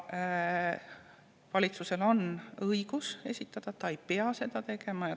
Valitsusel on õigus arvamus esitada, aga ta ei pea seda tegema.